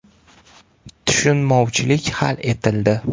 Tushunmovchilik hal etildi.